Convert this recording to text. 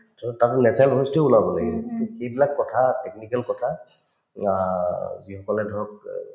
so, তাৰপিছত natural voice তোয়ে ওলাব লাগিব to সেইবিলাক কথা technical কথা আ যিসকলে ধৰক